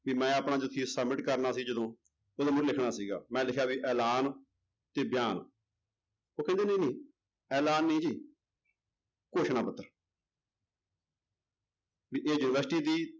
ਵੀ ਆਪਣਾ submit ਕਰਨਾ ਸੀ ਜਦੋਂ, ਉਦੋਂ ਮੈਂ ਲਿਖਣਾ ਸੀਗਾ, ਮੈਂ ਲਿਖਿਆ ਵੀ ਐਲਾਨ ਤੇ ਬਿਆਨ, ਉਹ ਕਹਿੰਦੇ ਨਹੀਂ ਨਹੀਂ ਐਲਾਨ ਨਹੀਂ ਜੀ ਘੋਸ਼ਣਾ ਪੱਤਰ ਵੀ ਇਹ university ਦੀ